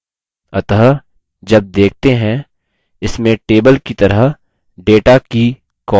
अत: जब देखते हैं इसमें table की तरह data की columns और rows होती हैं